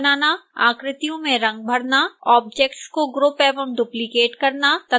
मूल आकृतियाँ बनाना आकृतियों में रंग भरना ऑब्जेक्ट्स को ग्रुप एवं डुप्लिकेट करना तथा